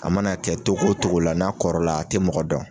A mana kɛ togo togo la, n'a kɔrɔ la, a tɛ mɔgɔ dɔn.